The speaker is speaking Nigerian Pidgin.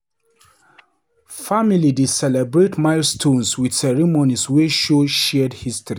Family dey celebrate milestones with ceremonies wey show shared history.